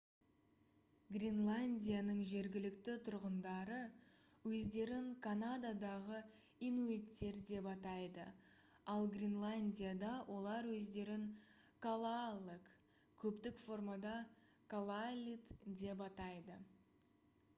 гренландияның жергілікті тұрғындары өздерін канададағы инуиттер деп атайды ал гренландияда олар өздерін калааллек көптік формада калааллит деп атайды